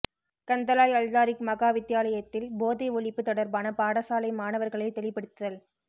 கந்தளாய் அல்தாரிக் மகா வித்தியாலயத்தில் போதை ஒழிப்பு தொடர்பான பாடசாலை மாணவர்களை தெளிபடுத்தல்